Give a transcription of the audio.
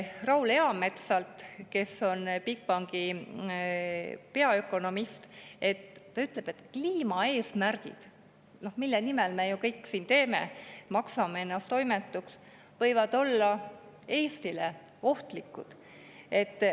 Raul Eamets, kes on Bigbanki peaökonomist, ütleb, et kliimaeesmärgid, mille nimel me ju kõike siin teeme, maksame ennast oimetuks, võivad olla Eestile ohtlikud.